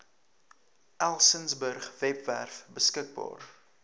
elsenburg webwerf beskikbaar